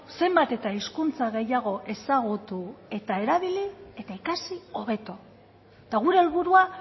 zenbat eta hizkuntza gehiago ezagutu eta erabili eta ikasi hobeto eta gure helburua